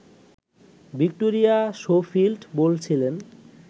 Victoria Schofield বলছিলেন